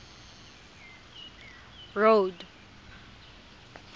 road